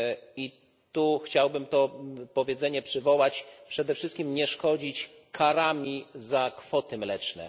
I chciałbym to powiedzenie przywołać przede wszystkim nie szkodzić karami za kwoty mleczne.